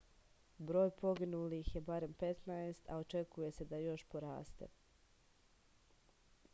broj poginulih je barem 15 a očekuje se da još poraste